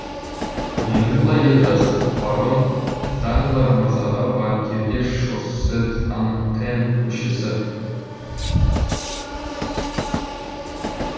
енді былай деп жаз барон данглар мырзаға банкирге шоссе д антен көшесі